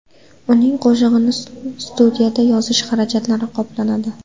Uning qo‘shig‘ini studiyada yozish xarajatlari qoplanadi.